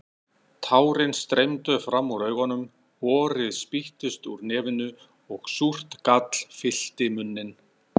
Tárin streymdu fram úr augunum, horið spýttist úr nefinu og súrt gall fyllti munninn.